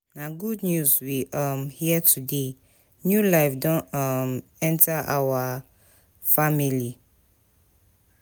Na good news we um hear today, new life don um enter our family.